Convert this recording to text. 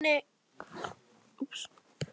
Sýnin enn og aftur.